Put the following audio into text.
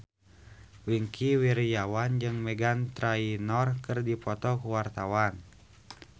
Wingky Wiryawan jeung Meghan Trainor keur dipoto ku wartawan